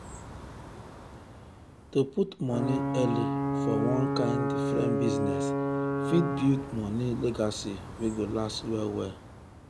to put money early for one kind different business fit build money legacy wey go last well well.